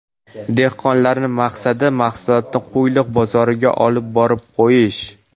Dehqonlarni maqsadi mahsulotni Qo‘yliq bozoriga olib borib qo‘yish.